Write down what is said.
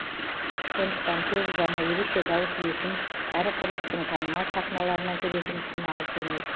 сондықтан көп ұзамай ерекше дауыс иесін кәрі құрлықтың танымал сахналарынан көретін күн алыс емес